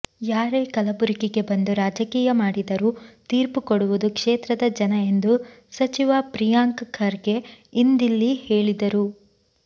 ಯಾರೇ ಕಲಬುರಗಿಗೆ ಬಂದು ರಾಜಕೀಯ ಮಾಡಿದರೂ ತೀರ್ಪು ಕೊಡುವುದು ಕ್ಷೇತ್ರದ ಜನ ಎಂದು ಸಚಿವ ಪ್ರಿಯಾಂಕ್ ಖರ್ಗೆ ಇಂದಿಲ್ಲಿ ಹೇಳಿದರು